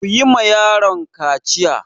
Ku yi ma yaron kaciya!